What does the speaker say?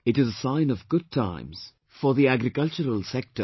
It is a sign of good times for the agricultural sector